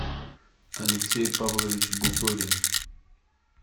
алексей павлович буторин